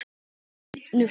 Ertu í fínu formi?